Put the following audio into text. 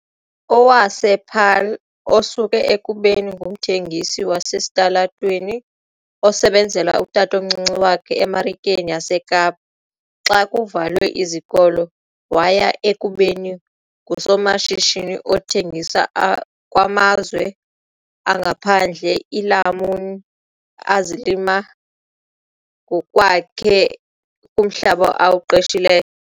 wasePaarl, osuke ekubeni ngumthengisi wasesitalatweni osebenzela utatomncinci wakhe eMarikeni yaseKapa xa kuvalwe izikolo waya ekubeni ngusomashishini othengisa kumazwe angaphandle iilamuni azilima ngokwakhe kumhlaba awuqeshileyo.